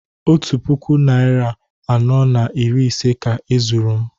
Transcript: Otu puku naịra anọ na iri ise ka e zuru m